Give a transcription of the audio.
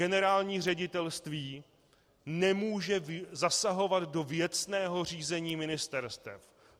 Generální ředitelství nemůže zasahovat do věcného řízení ministerstev.